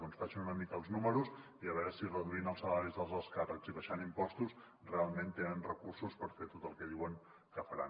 doncs facin una mica els números i a veure si reduint els salaris dels alts càrrecs i abaixant impostos realment tenen recursos per fer tot el que diuen que faran